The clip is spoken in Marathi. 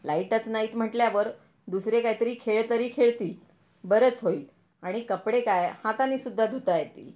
लाईटच नाहीत म्हटल्यावर दुसरे काही तरी खेळ तरी खेळतील बरंच होईल आणि कपडे काय हातानी सुद्धा धुता येतील.